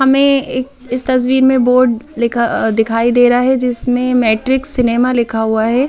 हमें एक इस तस्वीर में बोर्ड लिखा दिखाई दे रहा है जिसमें मैट्रिक्स सिनेमा लिखा हुआ है ।